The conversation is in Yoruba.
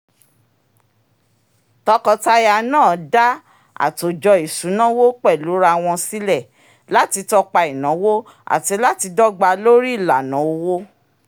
tọkọtaya náà dá àtòjọ isunawo pẹ̀lúra wọn sílẹ̀ láti tọ́pa ináwó àti láti dọ́gbà lórí ìlànà owó